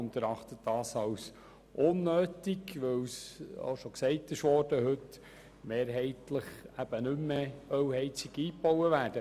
Wir erachten es als unnötig, weil mehrheitlich keine Ölheizungen mehr eingebaut werden.